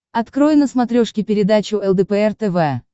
открой на смотрешке передачу лдпр тв